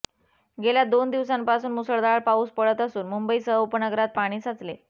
गेल्या दोन दिवसांपासून मुसळधार पाऊस पडत असून मुंबईसह उपनगरात पाणी साचले